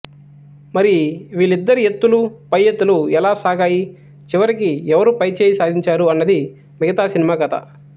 మరి వీళ్లిద్దరి ఎత్తులు పై ఎత్తులు ఎలా సాగాయి చివరికి ఎవరు పైచేయి సాధించారు అన్నది మిగతా సినిమా కథ